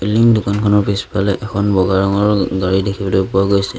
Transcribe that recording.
টিং দোকানখনৰ পিছফালে এখন বগা ৰঙৰ গাড়ী দেখিবলৈ পোৱা গৈছে।